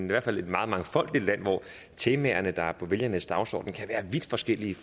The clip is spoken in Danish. hvert fald meget mangfoldige land hvor temaerne der er på vælgernes dagsorden kan være vidt forskellige